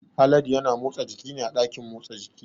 Haladu ya na motsa jiki ne a ɗakin motsa jiki